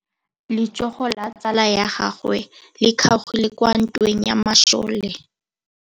Letsôgô la tsala ya gagwe le kgaogile kwa ntweng ya masole.